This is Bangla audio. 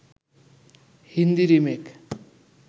হিন্দি রিমেক